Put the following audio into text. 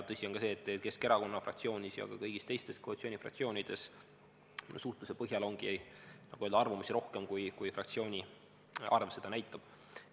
Tõsi on ka see, et Keskerakonna fraktsioonis ja kõigis teistes koalitsioonifraktsioonides, suhtluse põhjal öeldes, on arvamusi rohkem, kui fraktsioonide arv seda näitab.